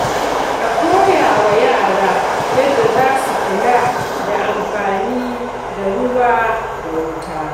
A koya wa yara yadda za su kula da amfani da ruwa da wuta.